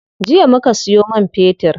Jiya muka siyo man fetir.